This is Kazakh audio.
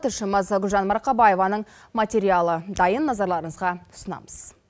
тілшіміз гүлжан марқабаеваның материалы дайын назарларыңызға ұсынамыз